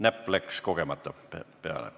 Näpp läks kogemata peale?